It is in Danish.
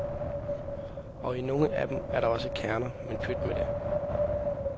Og i nogle af dem er der også kerner, men pyt med det.